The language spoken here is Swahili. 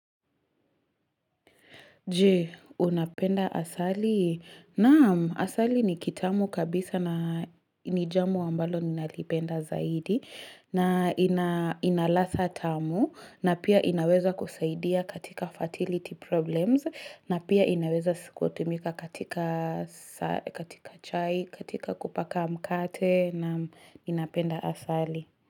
Jee, unapenda asali? Naam, asali ni kitamu kabisa na nijamu ambalo ninalipenda zaidi. Na inaladha tamu. Na pia inaweza kusaidia katika fertility problems. Na pia inaweza si kutumika katika chai, katika kupaka mkate. Naam, inapenda asali.